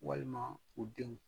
Walima u denw